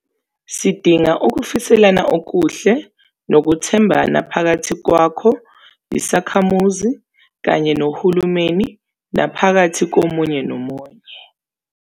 Sidinga ukufiselana okuhle nokuthembana phakathi kwakho, isakhamuzi, kanye nohulumeni, naphakathi komunye nomunye.